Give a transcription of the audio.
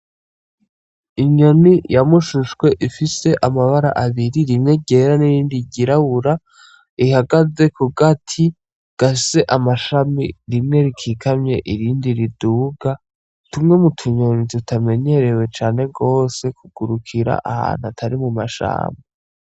Inyoni ya mushushwe ifise amabara abiri, rimwe n'irindi ryirabura ihagaze kugati gafise amashami rimwe rikikamye irindi riduga. Tumwe mutunyoni tutamenyerewe cane gose kugurukira ahantu atari mumashamba.